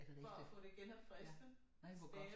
Er det rigtigt? Ja nej hvor godt